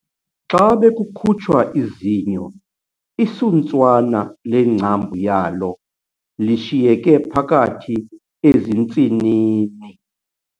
Xa bekukhutshwa izinyo isuntswana lengcambu yalo lishiyeke phakathi ezintsinini.